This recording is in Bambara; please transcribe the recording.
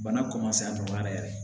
Bana a nɔgɔyara yɛrɛ